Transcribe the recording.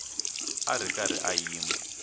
a ri karhi a yima